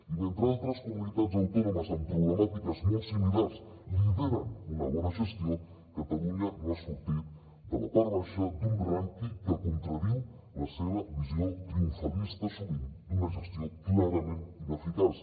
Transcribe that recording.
i mentre altres comunitats autònomes amb problemàtiques molt similars lideren una bona gestió catalunya no ha sortit de la part baixa d’un rànquing que contradiu la seva visió triomfalista sovint d’una gestió clarament ineficaç